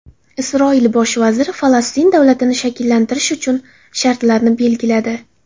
Isroil bosh vaziri Falastin davlatini shakllantirish uchun shartlarni belgiladi.